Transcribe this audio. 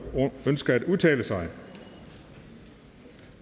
ønsker at udtale sig